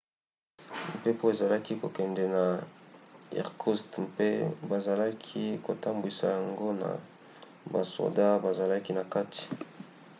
mpepo ezalaki kokende na irkoutsk mpe bazalaki kotambwisa yango na basoda bazalaki na kati